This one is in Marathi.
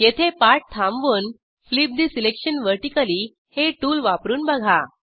येथे पाठ थांबवून फ्लिप ठे सिलेक्शन व्हर्टिकली हे टूल वापरून बघा